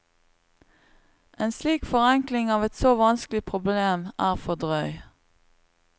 En slik forenkling av et så vanskelig problem er for drøy.